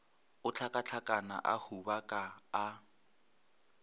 a hlakahlakana a hubaka a